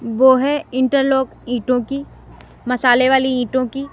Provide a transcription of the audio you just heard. वह है इंटरलॉक ईटों की मसाले वाली ईटों की।